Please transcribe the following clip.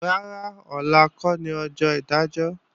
Rárá, ọ̀la kọ́ ni ọjọ́ ìdájọ́